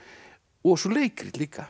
og svo leikrit líka